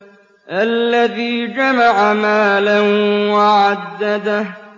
الَّذِي جَمَعَ مَالًا وَعَدَّدَهُ